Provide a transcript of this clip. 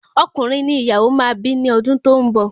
Ọkùnrin ni ìyàwó máa bi ni odun to n bọ